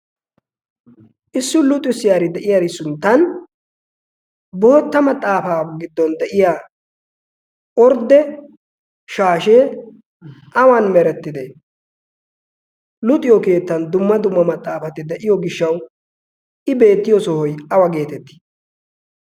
Issi luxissiyaari de'iyaara sinttan bootta maxaafa giddon de'iyaa ordde shashshe awan merettide? Luxiyo keetta dumma dumma maxaafati de'iyo gishshaw I beettiyo sohoy awa getetti?